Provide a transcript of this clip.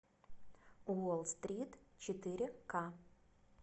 уолл стрит четыре ка